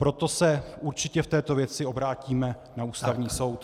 Proto se určitě v této věci obrátíme na Ústavní soud.